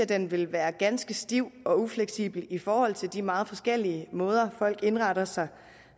den vil være ganske stiv og ufleksibel i forhold til de meget forskellige måder folk indretter sig